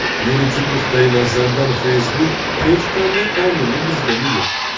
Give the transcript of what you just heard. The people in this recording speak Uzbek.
Yuridik nuqtai nazardan Facebook hech qanday qonunni buzgani yo‘q.